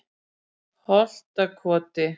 Holtakoti